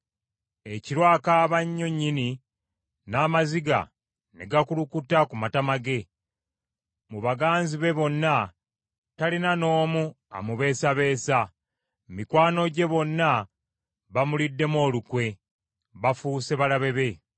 Ekiro akaaba nnyo nnyini, n’amaziga ne gakulukuta ku matama ge. Mu baganzi be bonna, talina n’omu amubeesabeesa. Mikwano gye bonna bamuliddemu olukwe, bafuuse balabe be.